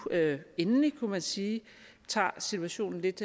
endelig kunne man sige tager situationen lidt